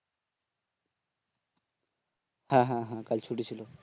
হ্যাঁ হ্যাঁ হ্যাঁ কাল ছুটি ছিল